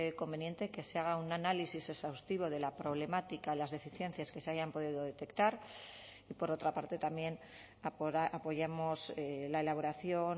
conveniente que se haga un análisis exhaustivo de la problemática las deficiencias que se hayan podido detectar y por otra parte también apoyamos la elaboración